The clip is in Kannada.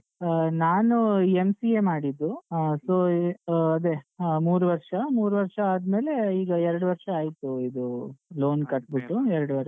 ಆ ನಾನೂ MCA ಮಾಡಿದ್ದು ಆ so ಆ ಅದೆ ಆ ಮೂರು ವರ್ಷ ಮೂರು ವರ್ಷ ಆದ್ಮೇಲೆ ಈಗ ಎರಡ್ ವರ್ಷ ಆಯ್ತು ಇದೂ loan ಕಟ್ಟ್ಬಿಟ್ಟು ಎರಡೂವರೆ ವರ್ಷ.